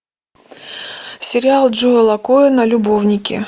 сериал джоэла коэна любовники